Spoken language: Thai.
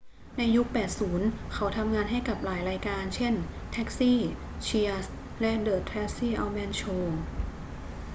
ในยุค 80 เขาทำงานให้กับหลายรายการ เช่น taxi cheers และ the tracy ullman show